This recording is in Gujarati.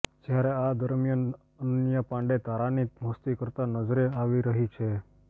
જ્યારે આ દરમિયાન અનન્યા પાંડે તારાની મસ્તી કરતા નજરે આવી રહી છે